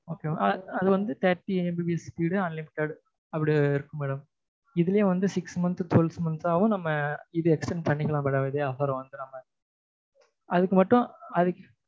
அது வந்து thirty MBPS speed unlimited அப்படி இருக்கு madam இதுலயே வந்து six month twelve month ஆவும் நம்ம வந்து இதை extent பண்ணிக்கலாம் madam இதே offer அ வந்து நம்ம அதுக்கு மட்டும் அது